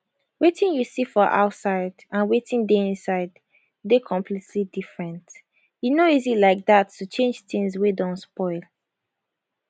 wetin you see for outside and wetin dey inside dey completely different e no easy like dat to change tins wey don spoil